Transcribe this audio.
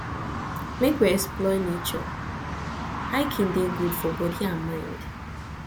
make we explore nature hiking dey good for body and mind